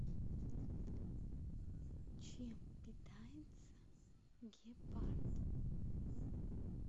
чем питается гепард